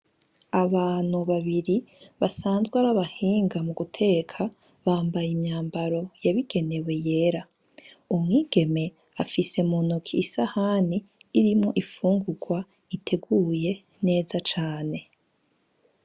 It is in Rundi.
Abantu babiri basanzwe ar'abahinga muguteka, bambaye imyambaro yabigenewe yera. Umwigeme afise muntoke isahani irimwo imfungurwa iteguye neza cane .